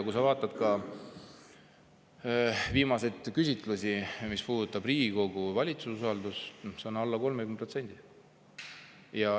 Kui sa vaatad viimaseid küsitlusi, mis puudutavad usaldust Riigikogu ja valitsuse vastu, siis see on alla 30%.